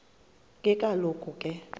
ke kaloku ke